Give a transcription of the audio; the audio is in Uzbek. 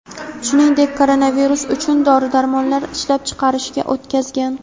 shuningdek koronavirus uchun dori-darmonlar ishlab chiqarishga o‘tkazgan.